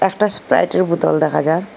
একটা স্প্রাইটের বোতল দেখা যার।